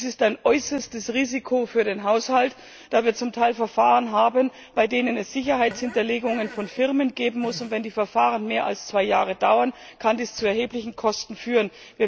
Das ist ein äußerstes Risiko für den Haushalt, da wir zum Teil Verfahren haben, bei denen es Sicherheitshinterlegungen von Firmen geben muss, und wenn die Verfahren mehr als zwei Jahre dauern, kann das zu erheblichen Kosten führen.